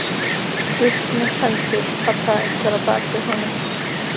Upp með hendur! kallaði einhver að baki honum.